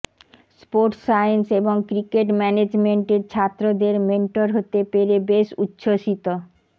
sports science এবং cricket ম্যানেজমেন্টের ছাত্রদের মেন্টর হতে পেরে বেশ উচ্ছ্বসিত